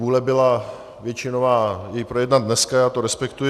Vůle byla většinová jej projednat dneska, já to respektuji.